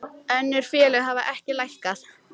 Önnur félög hafa ekki lækkað